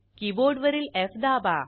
कीबोर्डवरील एफ दाबा